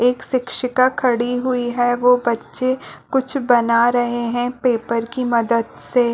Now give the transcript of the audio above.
एक सिकक्षिका खड़ी हुई है वो बच्चे कुछ बना रहे है पेपर की मदद से--